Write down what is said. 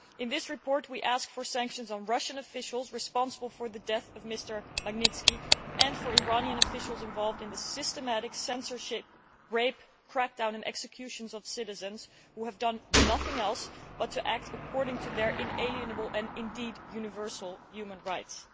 In this report we ask for sanctions on Russian officials responsible for the death of Mr Magnitsky and for Iranian officials involved in the systematic censorship, rape, crackdown and executions of citizens who have done nothing other than act according to their inalienable and indeed universal human rights.